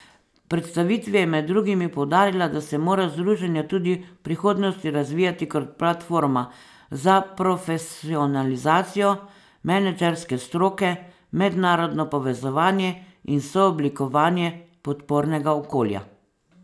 V predstavitvi je med drugim poudarila, da se mora združenje tudi v prihodnosti razvijati kot platforma za profesionalizacijo menedžerske stroke, mednarodno povezovanje in sooblikovanje podpornega okolja.